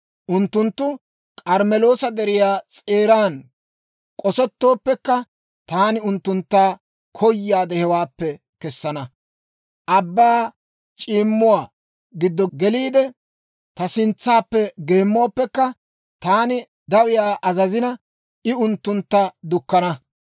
Unttunttu K'armmeloosa Deriyaa s'eeran k'osettooppekka, taani unttuntta koyaade hewaappe kessana. Abbaa c'iimmuwaa giddo geliide, ta sintsaappe geemmooppekka, taani dawiyaa azazina, I unttuntta dukkana.